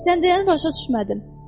Sən deyəni başa düşmədim.